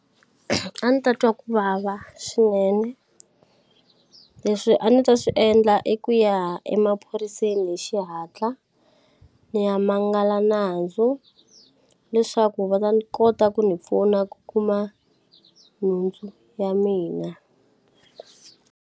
A ni ta twa ku vava swinene leswi a ni ta swi endla i ku ya emaphoriseni hi xihatla ni ya mangala nandzu leswaku va ta ni kota ku ni pfuna ku kuma nhundzu ya mina.